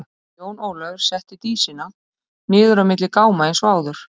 Jón Ólafur setti Dísina niður á milli gáma eins og áður.